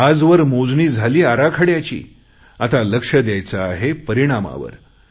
आजवर मोजणी झाली आराखड्याची आता लक्ष द्यायचे आहे परिणामावर